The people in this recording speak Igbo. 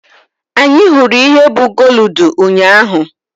Anyị hụrụ ihe bụ gooludu ụnyaahụ.